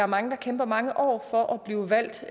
mange der kæmper mange år for at blive valgt